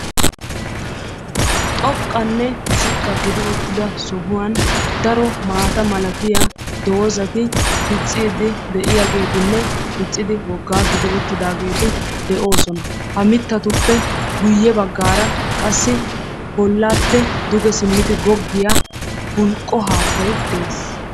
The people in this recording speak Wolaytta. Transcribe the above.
Xoqqanne ziqqa gidi uttida sohuwan daro maata malatiya doozati dicciiddi de'iyageetinne diccidi woggaa gidi uttidaageeti de'oosona. Ha mittatuppe guyye baggaara qassi bollappe duge simmidi goggiya bulqqo haattayi de'es.